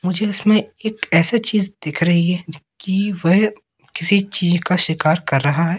मुझे इसमें एक ऐसा चीज दिख रही है जो कि वेह किसी चीज का शिकार कर रहा है।